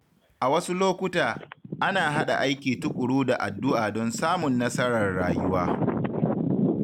A wasu lokuta, ana haɗa aiki tuƙuru da addu’a don samun nasarar rayuwa.